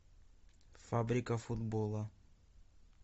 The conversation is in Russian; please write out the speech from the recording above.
фабрика футбола